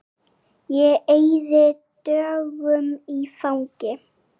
Ég eyði dögunum í fangi